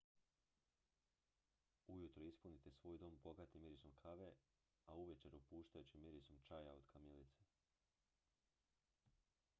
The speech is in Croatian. ujutro ispunite svoj dom bogatim mirisom kave a uvečer opuštajućim mirisom čaja od kamilice